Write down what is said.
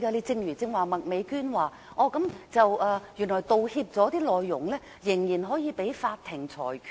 正如麥美娟議員剛才說，原來道歉內容可被法庭裁決。